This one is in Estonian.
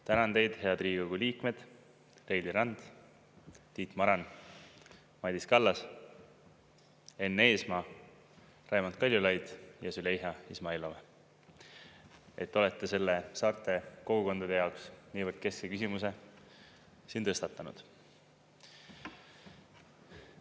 Tänan teid, head Riigikogu liikmed Reili Rand, Tiit Maran, Madis Kallas, Enn Eesmaa, Raimond Kaljulaidi ja Züleyxa Izmailova, et te olete selle saarte kogukondade jaoks niivõrd keskse küsimuse tõstatanud.